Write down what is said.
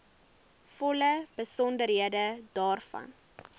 volle besonderhede daarvan